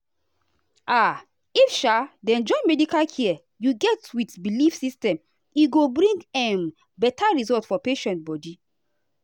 ah if um dem join medical care you get with belief system e go bring um better result for patient body.